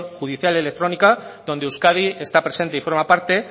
judicial y electrónica donde euskadi está presente y forma parte